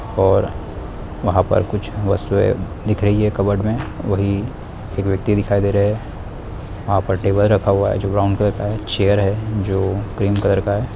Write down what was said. और वहाँ पर कुछ वस्तुएँ दिख रही है कबर्ड में वही एक व्यक्ति दिखाई दे रहा है वहाँ पर टेबल रखा हुआ है जो ब्राउन कलर का है चेयर है जो क्रीम कलर का है।